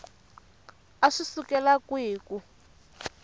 a swi sukela kwihi ku